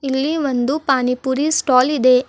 ಇಲ್ಲಿ ಒಂದು ಪಾನಿಪುರಿ ಸ್ಟಾಲ್ ಇದೆ.